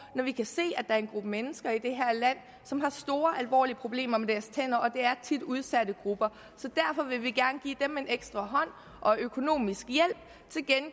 når vi kan se at er en gruppe mennesker i det her land som har store og alvorlige problemer med deres tænder det er tit udsatte grupper så derfor vil vi gerne give dem en ekstra hånd og økonomisk